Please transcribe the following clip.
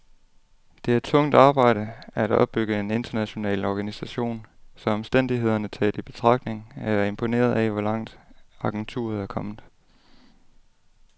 Det er tungt arbejde at opbygge en international organisation, så omstændighederne taget i betragtning er jeg imponeret af, hvor langt agenturet er kommet.